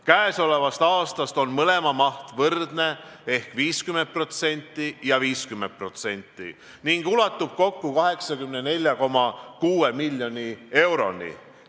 Käesolevast aastast on mõlema maht võrdne ehk 50% ja 50% ning ulatub kokku 84,6 miljoni euroni.